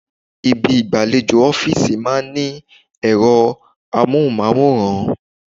Ibi igbalejo ọ́fíìsì máa ń ní ero amohunmaworan.